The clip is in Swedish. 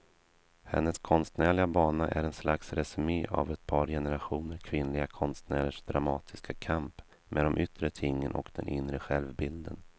Hennes konstnärliga bana är ett slags resumé av ett par generationer kvinnliga konstnärers dramatiska kamp med de yttre tingen och den inre självbilden.